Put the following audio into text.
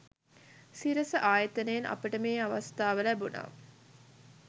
සිරස ආයතනයෙන් අපට මේ අවස්ථාව ලැබුණා.